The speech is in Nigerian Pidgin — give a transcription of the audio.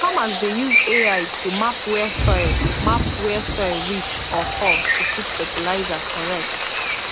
farmers dey use ai to map where soil map where soil rich or poor to put fertilizer correct